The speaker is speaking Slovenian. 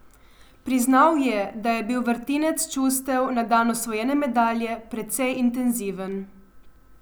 Priznal je, da je bil vrtinec čustev na dan osvojene medalje precej intenziven.